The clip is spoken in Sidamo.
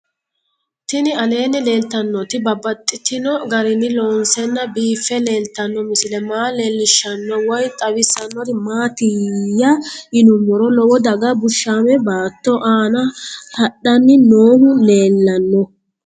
Tinni aleenni leelittannotti babaxxittinno garinni loonseenna biiffe leelittanno misile maa leelishshanno woy xawisannori maattiya yinummoro lowo daga bushshaame baatto aanna haranni noohu leellanno